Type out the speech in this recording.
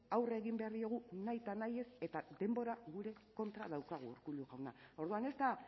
aurre egin behar diegu nahi ta nahiez eta denbora gure kontra daukagu urkullu jauna orduan ez da